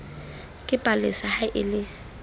ke palesa ha e le